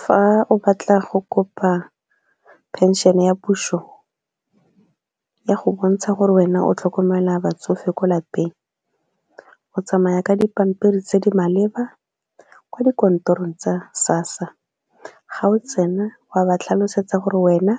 Fa o batla go kopa pension ya puso ya go bontsha gore wena o tlhokomela batsofe ko lapeng o tsamaya ka dipampiri tse di maleba ko dikantorong tsa SASSA ga o tsena wa ba tlhalosetsa gore wena